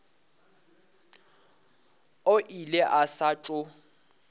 o ile a sa tšo